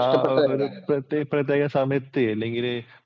ആ ഒരു പ്രത്യേക സമയത്തു അല്ലെങ്കില്